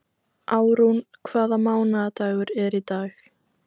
Árún, hvaða mánaðardagur er í dag?